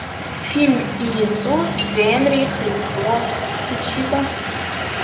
фильм иисус генри христос включи ка